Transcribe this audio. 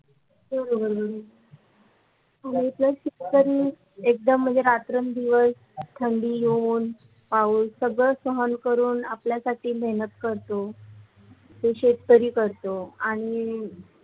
शेतकरी एकदम म्णजे खात्रन दिव्य ठंडी होऊन पाऊस सगळ सहन आपल्या साठी मेहनत करतो ते शेतकरी करतो आणि